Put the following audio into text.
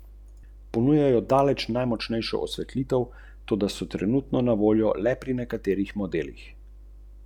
Sam ta zakon vidim kot nekaj, kar je na zunaj, politično, videti odlično, vendar je le mrtva črka na papirju.